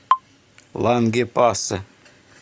лангепасе